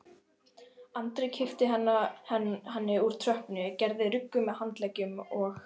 Andri kippti henni úr tröppunni, gerði ruggu með handleggjunum og